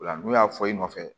Ola n'u y'a fɔ i nɔfɛ